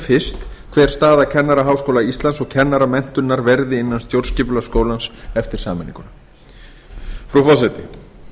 fyrst hver staða kennaraháskóla íslands og kennaramenntunar verði innan stjórnskipulags skólans eftir sameininguna frú forseti